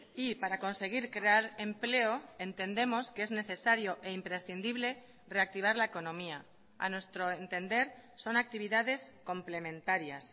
y para conseguir crear empleo entendemos que es necesario e imprescindible reactivar la economía a nuestro entender son actividades complementarias